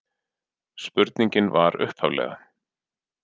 Spurningin var upphaflega: